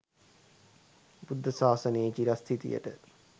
බුද්ධ ශාසනයේ චිරස්ථිතියට